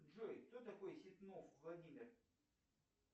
джой кто такой ситнов владимир